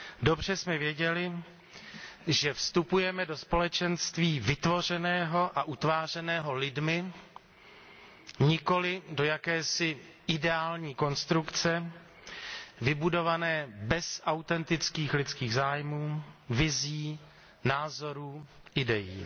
Dobře jsme věděli, že vstupujeme do společenství vytvořeného a utvářeného lidmi, nikoli do jakési ideální konstrukce vybudované bez autentických lidských zájmů, vizí, názorů, idejí.